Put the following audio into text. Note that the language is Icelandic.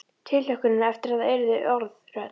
Tilhlökkunin eftir að það yrðu orð, rödd.